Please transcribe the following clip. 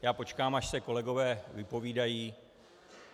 Já počkám, až se kolegové vypovídají.